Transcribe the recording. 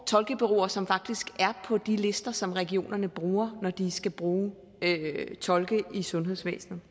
tolkebureauer som faktisk er på de lister som regionerne bruger når de skal bruge tolke i sundhedsvæsenet